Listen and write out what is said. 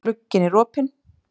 Glugginn er opinn.